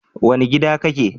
Wane gida kake?